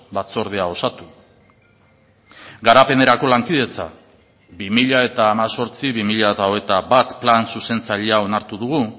batzordea osatu garapenerako lankidetza bi mila hemezortzi bi mila hogeita bat plan zuzentzailea onartu dugu